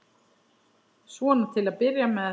Svona til að byrja með.